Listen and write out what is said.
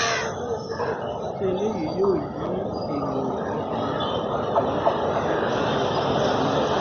ṣé eléyìí yóò yí èrò ọkàn ọbànjọ́ nípa rẹ̀ padà ni